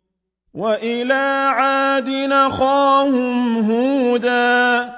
۞ وَإِلَىٰ عَادٍ أَخَاهُمْ هُودًا ۗ